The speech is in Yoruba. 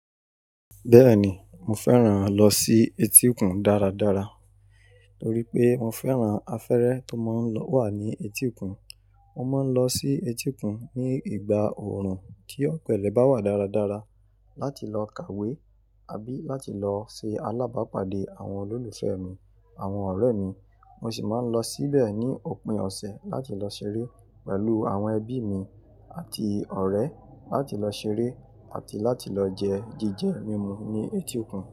Bẹ́ẹ̀ni, mo fẹ́ràn lọ sí etíkun dáradára torí pé mo fẹ́ràn afẹ́rẹ́ tó máa ń wà ní etíkun. Mo máa ń lọ sí etíkun ní ìgbà òòrùn kí ọ̀pẹ̀lẹ̀ bá wà dáradára láti lọ kàwé àbí láti lọ ṣe alábàápàdé àwọn olólùfẹ́ mi, àwọn ọ̀rẹ́ mi. Mo sì máa ń lọ síbẹ̀ ní òpin ọ̀sẹ̀ láti lọ ṣeré pẹ̀lú àwọn ẹbí mi àti ọ̀rẹ́, láti lọ ṣeré àti láti lọ jẹ jíjẹ mímu ní etíkun.